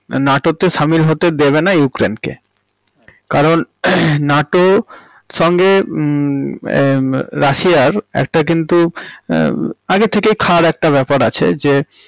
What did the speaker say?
NATO তে সামিল হতে দেবে না ইউক্রেইন্ কে, আচ্ছা কারণ নাটোর সঙ্গে হম এর রাশিয়ার একটা কিন্তু মম আগে থেকেই খাঁর একটা বেপার আছে যে।